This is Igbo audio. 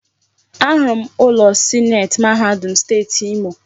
Ahụrụ m ụlọ sineeti mahadum Steeti Imo.